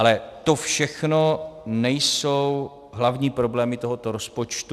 Ale to všechno nejsou hlavní problémy tohoto rozpočtu.